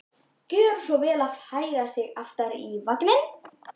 Gjöra svo vel að færa sig aftar í vagninn!